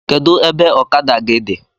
Kedụ ebe ọkada gị dị?